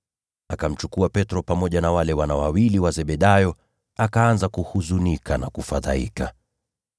Akamchukua Petro pamoja na wale wana wawili wa Zebedayo, akaanza kuhuzunika na kufadhaika.